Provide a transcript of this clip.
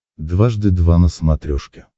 дважды два на смотрешке